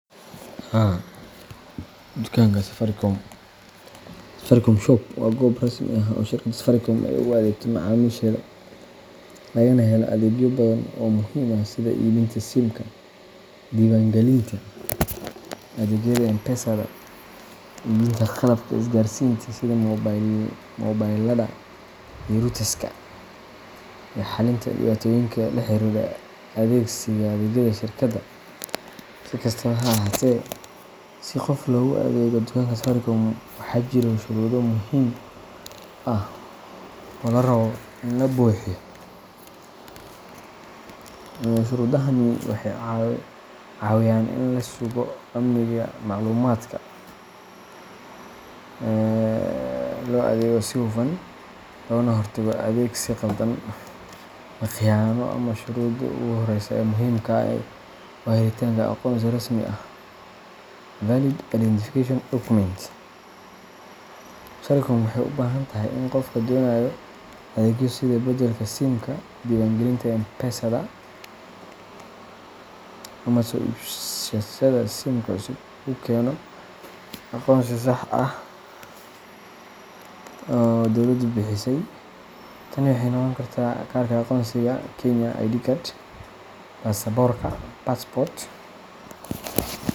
Haa dukaanka Safaricom Safaricom Shop waa goob rasmi ah oo shirkadda Safaricom ay ugu adeegto macaamiisheeda, lagana helo adeegyo badan oo muhiim ah sida iibinta SIMka, diiwaangelinta adeegyada M-Pesada, iibinta qalabka isgaarsiinta sida moobilada iyo routerska, iyo xalinta dhibaatooyinka la xiriira adeegsiga adeegyada shirkadda. Si kastaba ha ahaatee, si qof loogu adeego dukaanka Safaricom, waxaa jira shuruudo muhiim ah oo laga rabo in la buuxiyo. Shuruudahani waxay caawiyaan in la sugo amniga macluumaadka, loo adeego si hufan, loogana hortago adeegsi khaldan ama khiyaano ah. Shuruudda ugu horreysa ee muhiimka ah waa helitaanka aqoonsi rasmi ah valid identification document. Safaricom waxay u baahan tahay in qofka doonaya adeegyo sida beddelka SIMka, diiwaangelinta M-Pesada, ama soo iibashada SIMka cusub uu keeno aqoonsi sax ah oo dowladdu bixisay. Tani waxay noqon kartaa kaarka aqoonsiga Kenya ID card, baasaboorka passport,